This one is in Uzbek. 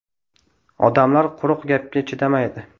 Odamlar quruq gapga chidamaydi.